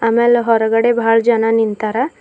ಅಮೇಲ್ ಹೊರಗಡೆ ಬಹಳ್ ಜನ ನಿಂತಾರ.